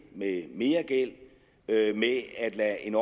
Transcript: med mere gæld med at at lade en